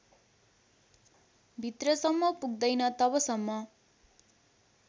भित्रसम्म पुग्दैन तबसम्म